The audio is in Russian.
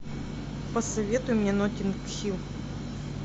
посоветуй мне нотинг хилл